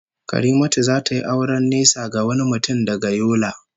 Karimatu will marry a man from far away Yola